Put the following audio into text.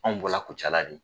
Anw bɔra kucala de